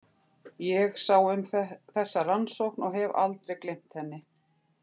Ég sá um þessa rannsókn og hef aldrei gleymt henni.